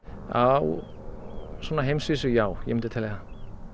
á heimsvísu já ég myndi telja það